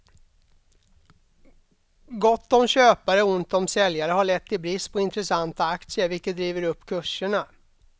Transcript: Gott om köpare och ont om säljare har lett till brist på intressanta aktier, vilket driver upp kurserna.